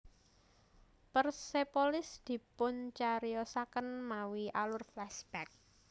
Persepolis dipuncariyosaken mawi alur flashback